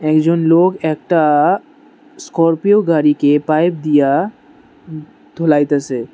একজন লোক একটা স্করপিও গাড়িকে পাইপ দিয়া উ ধোলাইতেসে।